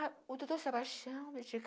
Ah, o doutor Sebastião me